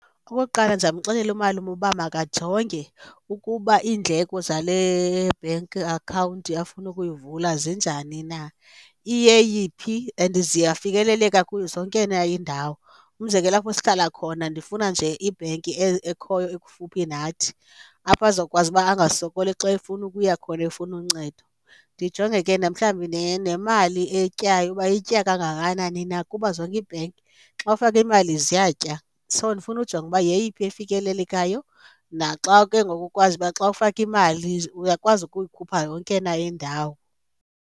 Okokuqala, ndizamxelela umalume uba makajonge ukuba iindleko zale bhenki akhawunti afuna ukuyivula zinjani na, iyeyiphi and ziyafikeleleka zonke na iindawo. Umzekelo, apho sihlala khona ndifuna nje ibhenki ekhoyo ekufuphi nathi apho azokwazi uba angasokoli xa efuna ukuya khona efuna uncedo. Ndijonge ke na mhlawumbi nemali eyityayo uba itya kangakanani na kuba zonke iibhenki xa ufake imali ziyatya, so ndifuna ujonge ukuba yeyiphi efikelelekayo. Naxa ke ngoku ukwazi uba xa ufake imali uyakwazi ukuyikhupha yonke na indawo.